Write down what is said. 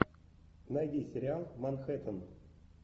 найди сериал манхэттен